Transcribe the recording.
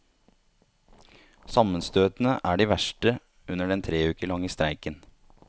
Sammenstøtene er de verste under den tre uker lange streiken.